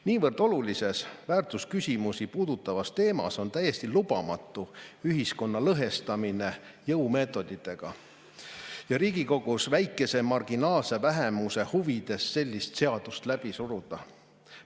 Niivõrd olulise, väärtusküsimusi puudutava teema puhul on täiesti lubamatu ühiskonda jõumeetoditega lõhestada ja Riigikogus marginaalse vähemuse huvides sellist seadust läbi suruda.